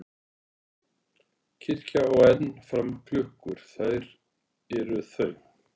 Kirkja á enn um fram klukkur þær er þau